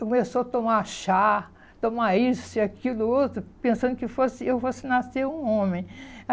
Começou a tomar chá, tomar isso, aquilo, outro, pensando que fosse eu fosse nascer um homem.